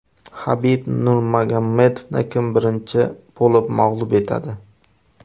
Habib Nurmagomedovni kim birinchi bo‘lib mag‘lub etadi?